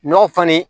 Ɲɔ falen